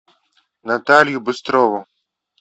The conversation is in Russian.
наталью быстрову